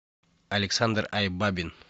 александр айбабин